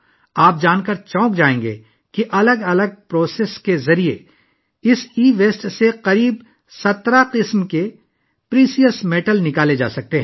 آپ یہ جان کر حیران رہ جائیں گے کہ اس ای ویسٹ سے تقریباً 17 قسم کی قیمتی دھاتیں مختلف عمل کے ذریعے نکالی جا سکتی ہیں